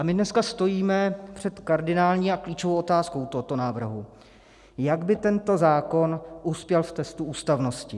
A my dneska stojíme před kardinální a klíčovou otázkou tohoto návrhu: jak by tento zákon uspěl v testu ústavnosti?